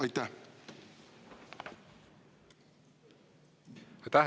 Aitäh!